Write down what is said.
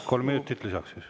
Kolm minutit lisaks siis.